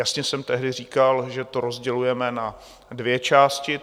Jasně jsem tehdy říkal, že to rozdělujeme na dvě části.